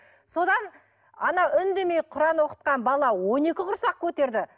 содан ана үндемей құран оқытқан бала он екі құрсақ көтерді